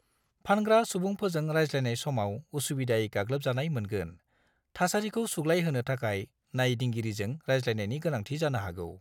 फानग्रा सुबुंफोरजों रायज्लायनाय समाव असुबिदायै गाग्लोबजानाय मोनगोन, थासारिखौ सुग्लायहोनो थाखाय नायदिंगिरिजों रायज्लायनायनि गोनांथि जानो हागौ।